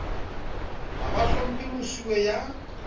ha ba hlomphe mosuwe ya